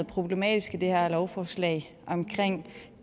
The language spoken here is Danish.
problematisk i det her lovforslag omkring